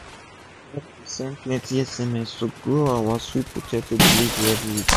we don start dey send plenti sms to grow our sweet potato delivery everi week